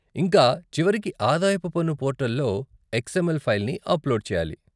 ఇంకా చివరికి ఆదాయపు పన్ను పోర్టల్లో ఎక్స్ఎమ్ఎల్ ఫైల్ని అప్లోడ్ చేయాలి.